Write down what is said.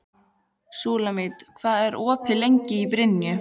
Súlamít, hvað er lengi opið í Brynju?